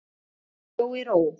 Hún bjó í ró.